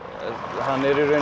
hann